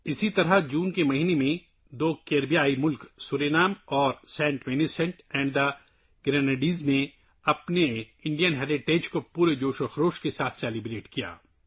اسی طرح جون کے مہینے میں دو کیریبین ممالک سورینام اور سینٹ ونسنٹ اور گریناڈائنز نے اپنے ہندوستانی ورثے کو پورے جوش و خروش سے منایا